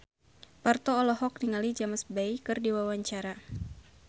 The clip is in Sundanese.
Parto olohok ningali James Bay keur diwawancara